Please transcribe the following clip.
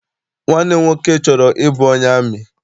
Nwanne m nwoke chọrọ ịbụ onye amị.